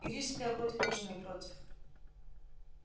и рижская вроде тоже не против